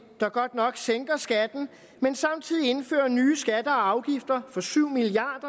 der godt nok sænker skatten men samtidig indfører nye skatter og afgifter for syv milliard